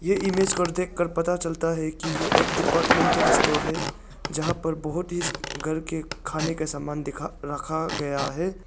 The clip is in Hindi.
ये इमेज की ओर देखकर पता चलता है कि यह एक डिपार्टमेंटल स्टोर है यहां पर बहुत ही घर के खाने के समान दिखा रखा गया है।